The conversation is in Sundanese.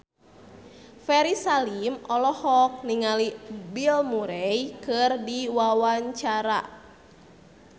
Ferry Salim olohok ningali Bill Murray keur diwawancara